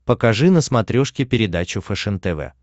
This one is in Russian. покажи на смотрешке передачу фэшен тв